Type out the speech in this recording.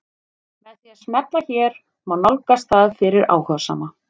Með því að smella hér má nálgast það fyrir áhugasama.